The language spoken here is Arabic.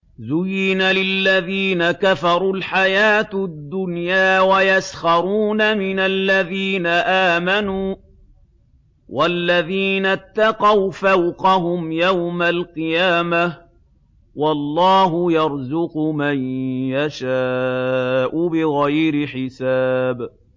زُيِّنَ لِلَّذِينَ كَفَرُوا الْحَيَاةُ الدُّنْيَا وَيَسْخَرُونَ مِنَ الَّذِينَ آمَنُوا ۘ وَالَّذِينَ اتَّقَوْا فَوْقَهُمْ يَوْمَ الْقِيَامَةِ ۗ وَاللَّهُ يَرْزُقُ مَن يَشَاءُ بِغَيْرِ حِسَابٍ